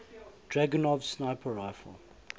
dragunov sniper rifle